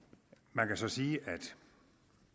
man kan så sige at et